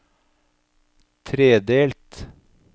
tredelt